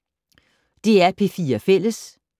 DR P4 Fælles